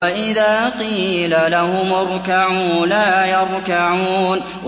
وَإِذَا قِيلَ لَهُمُ ارْكَعُوا لَا يَرْكَعُونَ